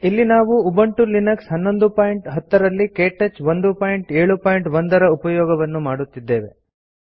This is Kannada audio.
ಇಲ್ಲಿ ನಾವು ಉಬುಂಟು ಲಿನಕ್ಸ್ 1110 ರಲ್ಲಿ ಕೇಟಚ್ 171 ರ ಉಪಯೋಗವನ್ನು ಮಾಡುತ್ತಿದ್ದೇವೆ